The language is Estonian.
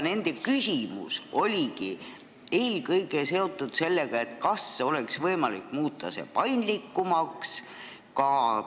Nende küsimus oligi eelkõige seotud sellega, kas oleks võimalik seda paindlikumaks muuta.